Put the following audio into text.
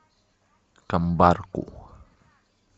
камбарку